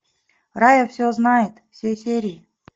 рая все знает все серии